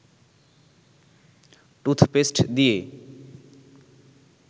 toothpaste দিয়ে